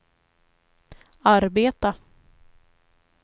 arbeta